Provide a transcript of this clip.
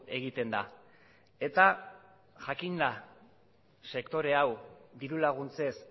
egiten da eta jakinda sektore hau diru laguntzez